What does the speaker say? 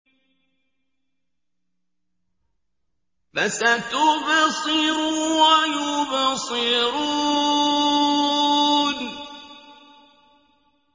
فَسَتُبْصِرُ وَيُبْصِرُونَ